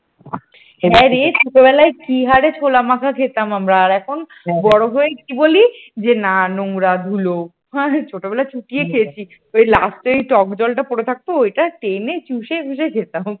হ্যাঁরে ছোটবেলায় কি হারে ছোলা মাখা খেতাম আমরা আর এখন বড় হয়ে কি বলি যে না নোংরা ধুলো ছোটবেলায় চুটিয়ে খেয়েছি last যে টক-জ্বলটা পড়ে থাকত ওটা টেনে চুষে মুসে খেতাম।